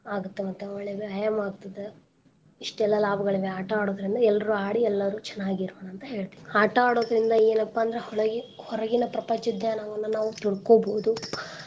ಆಗತ್ ಮತ್ತ್ ಒಳ್ಳೆ ವ್ಯಾಯಾಮ ಆಗ್ತದ ಇಸ್ಟೆಲ್ಲಾ ಲಾಭಗಳಿವೆ ಆಟಾ ಆಡೋದ್ರಿಂದ ಎಲ್ಲರ್ರೂ ಆಡಿ ಎಲ್ಲರೂ ಚನಾಗಿರೋಣ ಅಂತ್ ಹೇಳ್ತೀನ್. ಆಟಾ ಆಡೋದ್ರಿಂದ ಎನಪಾ ಅಂದ್ರ ಹೊಳಗೆ~ ಹೊರಗಿನ ಪ್ರಪಂಚ ಜ್ಞಾನವನ್ನ ನಾವ್ ತಿಳ್ಕೊಬೋದು.